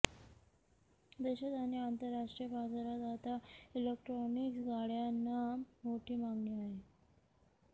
देशात आणि आंतरराष्ट्रीय बाजारात आता इलेक्ट्रॉनिक्स गाड्यांना मोठी मागणी आहे